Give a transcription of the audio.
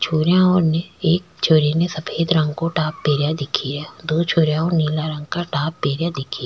छोरीया है वोने एक छोरी ने सफ़ेद रंग को टॉप पहरा दिख रा दो छोरिया नीला रंग का टॉप पहरा दिख --